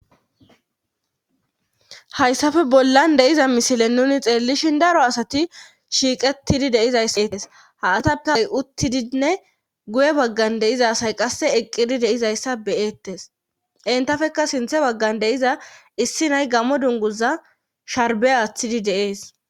Hayssafe bollan de'iza misile nuni xeellishin daro asati shiiqettidi deizayssa eettes ha atakay uttidinne guye baggan deiza asay qasse eqqidi deizayssa beyettes intafeka sinthe baggan deiza issi nay gamo dunguza sharbe aththidi deees.